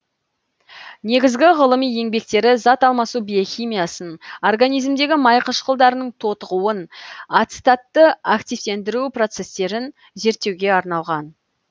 негізгі ғылыми еңбектері зат алмасу биохимиясын организмдегі май қышқылдарының тотығуын ацетатты активтендіру процестерін зерттеуге арналған